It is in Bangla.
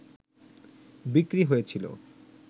বিক্রি হয়েছিল